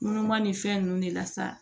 Numan ni fɛn ninnu de la sa